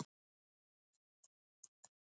Hver gaf það?